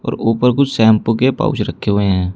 और ऊपर कुछ शैंपू के पाउच रखे हुए हैं।